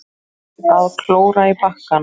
Að klóra í bakkann